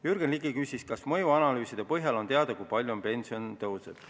Jürgen Ligi küsis, kas mõjuanalüüside põhjal on teada, kui palju pension tõuseb.